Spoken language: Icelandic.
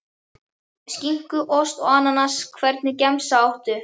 Skinku, ost og ananas Hvernig gemsa áttu?